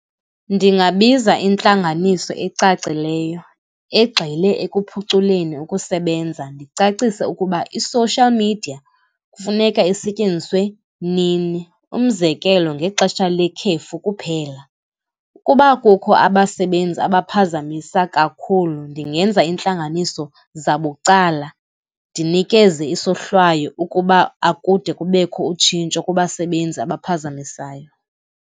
Ndingabiza intlanganiso ecacileyo, egxile ekuphuculeni ukusebenza, ndicacise ukuba i-social media kufuneka isetyenziswe nini. Umzekelo, ngexesha lekhefu kuphela. Ukuba kukho abasebenzi angaphazamisa kakhulu ndingenza intlanganiso zabucala, ndinikeze isohlwayo ukuba akude kubekho utshintsho kubasebenzi abaphazamisayo.